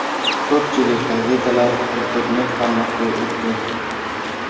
Ko‘pchilik gazetalar internet-formatga o‘tdi.